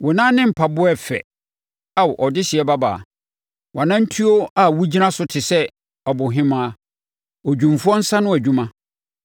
Wo nan ne mpaboa yɛ fɛ, Ao, ɔdehyeɛ babaa! Wʼanantuo a wogyina so te sɛ abohemaa, odwumfoɔ nsa ano adwuma.